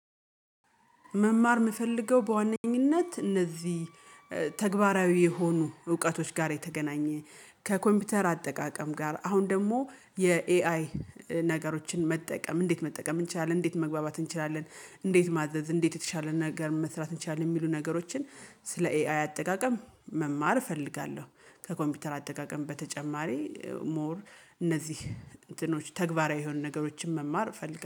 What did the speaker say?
መማር የምፈልገው በዋነኝነት እነዚህ ተግባራዊ የሆኑ እውቀቶች ጋር የተገናኘ ከኮምፒውተር አጠቃቀም ጋር አሁን ደግሞ የኤአይ ነገሮችን መጠቀም እንዴት መጠቀም እንችላለን እንዴት መግባባት እንችላለን? እንዴት ማዘዝ እንዴት የተሻለ ነገር መስራት እንችላለን የሚሉ ነገሮችን ስለ ኤአይ አጠቃቀም መማር እፈልጋለሁ። ከኮምፒውተር አጠቃቀም በተጨማሪ ሞር እነዚህ እንትኖች ተግባራዊ የሆኑ ነገሮችን መማር ፈልጋለሁ